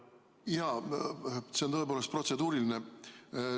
Jaa, see on tõepoolest protseduuriline.